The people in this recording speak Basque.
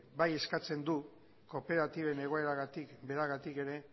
bai eskatzen du kooperatiben egoeragatik beragatik ere